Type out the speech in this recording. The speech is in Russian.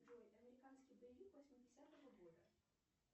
джой американский боевик восьмидесятого года